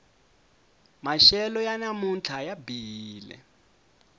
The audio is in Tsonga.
maxelo ya namuntlha ya bihile